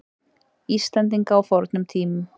Íslendinga á fornum tímum.